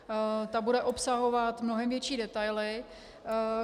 Ta bude obsahovat mnohem větší detaily.